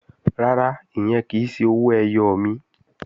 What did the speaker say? Rárá, ìyẹn kì í ṣe owó ẹyọ mi